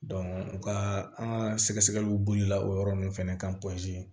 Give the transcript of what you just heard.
u ka an ka sɛgɛ sɛgɛliw bolila o yɔrɔ ninnu fɛnɛ kan